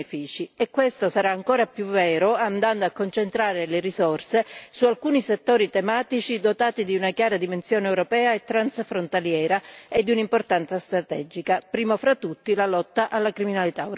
E questo sarà ancora più vero andando a concentrare le risorse su alcuni settori tematici dotati di una chiara dimensione europea e transfrontaliera e di un'importanza strategica, primo fra tutti la lotta alla criminalità organizzata.